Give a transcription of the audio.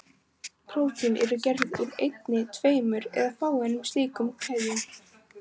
Prótín eru gerð úr einni, tveimur eða fáeinum slíkum keðjum.